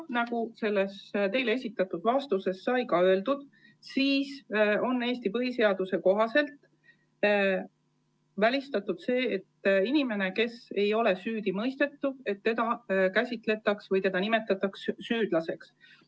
Nagu teile esitatud vastuses sai öeldud, on Eesti põhiseaduse kohaselt välistatud, et inimest, keda ei ole süüdi mõistetud, tohiks käsitleda süüdlasena või nimetada süüdlaseks.